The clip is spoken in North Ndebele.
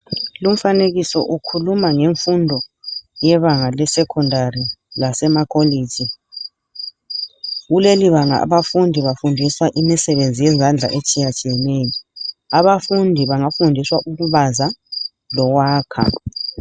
Lumfanekiso ukhuluma ngemfundo yebanga lesecondary lecollege kuleli banga abafundi bafundiswa imisebenzi yezandla etshiyatshiyeneyo abafundi bangafundiswa ukubaza lokwakha.